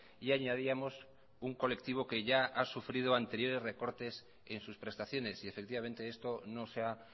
y añadíamos un colectivo que ya ha sufrido anteriores recortes en sus prestaciones y efectivamente esto no se ha